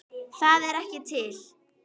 ÞAÐ ER EKKI TIL!!!